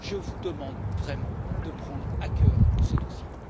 Je vous demande vraiment de prendre à cœur ce dossier.